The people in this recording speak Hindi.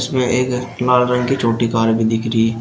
इसमें एक लाल रंग की छोटी कार भी दिख रही--